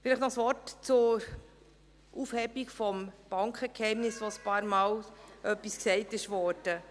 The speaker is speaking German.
Vielleicht noch ein Wort zur Aufhebung des Bankgeheimnisses, zu der ein paarmal etwas gesagt wurde.